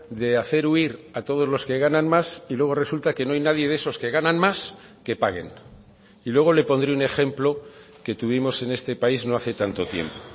de hacer huir a todos los que ganan más y luego resulta que no hay nadie de esos que ganan más que paguen y luego le pondré un ejemplo que tuvimos en este país no hace tanto tiempo